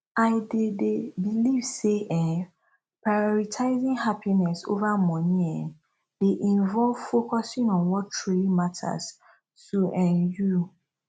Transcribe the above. i dey dey believe say um prioritizing happiness over money um dey involve focusing on what truly matters to um you